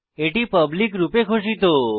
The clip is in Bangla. এটি পাবলিক রূপে ঘোষিত